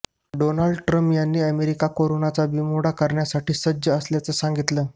Donald Trump यांनी America कोरोनाचा बीमोड करण्यासाठी सज्ज असल्याचं सांगितलं